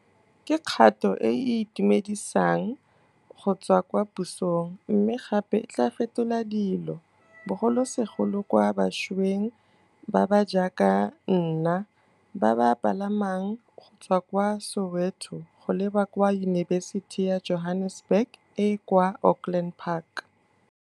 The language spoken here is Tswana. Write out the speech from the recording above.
Ke kgato e e itumedisang go tswa kwa pusong mme gape e tla fetola dilo, bogolosegolo kwa bašweng ba ba jaaka nna ba ba palamang go tswa kwa Soweto go leba kwa Yunibesiti ya Johannesburg e e kwa Auckland Park